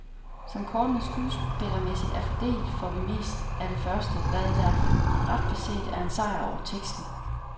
Som kortene skuespillermæssigt er fordelt, får vi mest af det første, hvad der ret beset er en sejr over teksten.